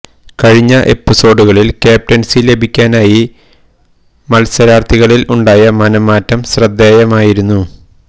കഴിഞ്ഞ എപ്പിസോഡുകളില് ക്യാപ്റ്റന്സി ലഭിക്കാനായി മല്സരാര്ത്ഥികളില് ഉണ്ടായ മനം മാറ്റം ശ്രദ്ധേയമായിരുന്നു